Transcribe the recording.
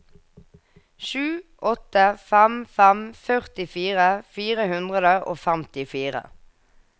sju åtte fem fem førtifire fire hundre og femtifire